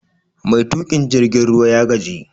Mai tukin jirgin ruwa ya gaji